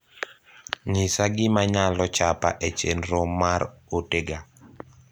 nyisa gima nyalo chapa e chenro mar ote ga